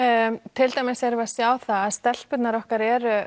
til dæmis erum við að sjá það að stelpurnar okkar eru